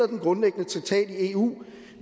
den grundlæggende traktat i eu